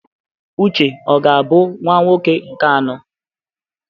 Uche ọ ga-abụ nwa nwoke nke anọ?